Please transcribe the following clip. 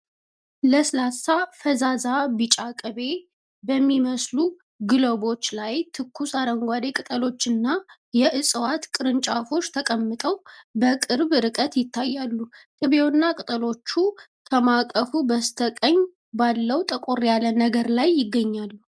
ለስላሳ፣ ፈዛዛ ቢጫ ቅቤ በሚመስሉ ግሎቦች ላይ ትኩስ አረንጓዴ ቅጠሎችና የዕፅዋት ቅርንጫፎች ተቀምጠው በቅርብ ርቀት ይታያሉ። ቅቤውና ቅጠሎቹ ከማዕቀፉ በስተቀኝ ባለው ጠቆር ያለ ነገር ላይ ይገኛሉ።